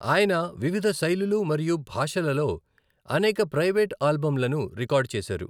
ఆయన వివిధ శైలులు మరియు భాషలలో అనేక ప్రైవేట్ ఆల్బమ్లను రికార్డ్ చేశారు.